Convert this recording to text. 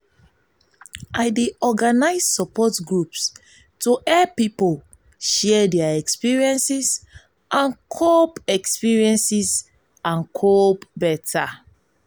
i dey organize support groups to help pipo share their experiences and cope experiences and cope beta.